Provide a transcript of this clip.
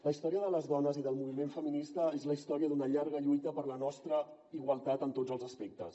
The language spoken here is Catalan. la història de les dones i del moviment feminista és la història d’una llarga lluita per la nostra igualtat en tots els aspectes